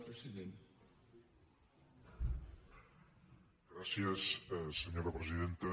gràcies senyora presidenta